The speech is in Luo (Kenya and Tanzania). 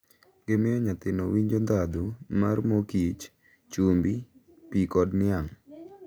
Gimiyo nyathino winjo ndhadhu mar mor kich, chumbi, pi kod niang'.